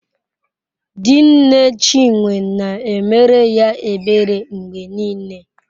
Di nne Chinwe na-emere ya ebere mgbe niile.